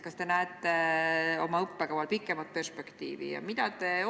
Kas te näete oma õppekaval pikemat perspektiivi?